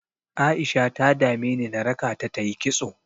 A'isha ta dameni na raka ta ta yi kitso.